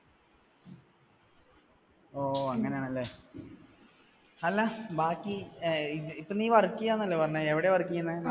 ഓ അങ്ങനെയാണല്ലേ. അല്ല ബാക്കി, ഇപ്പോ നീ work ചെയ്യുന്ന ആണെന്നല്ലേ പറഞ്ഞേ. എവിടെയാണ് work ചെയ്യുന്നേ?